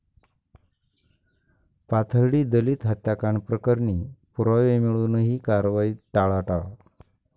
पाथर्डी दलित हत्याकांड प्रकरणी पुरावे मिळुनही कारवाईत टाळाटाळ